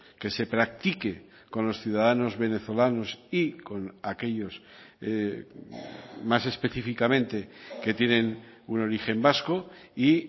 que se practique con los ciudadanos venezolanos y con aquellos más específicamente que tienen un origen vasco y